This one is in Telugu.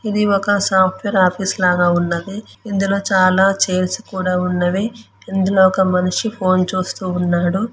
ఇది సాప్ట్వేర్ ఆఫీసులా ఉంది ఇందులో చాలా చైర్స్ కూడా ఉన్నవి ఇందులో ఒక మనిషి ఫోన్ చూస్తూ ఉన్నాడు.